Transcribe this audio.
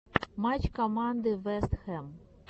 матч команды вест хэм